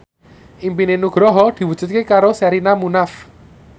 impine Nugroho diwujudke karo Sherina Munaf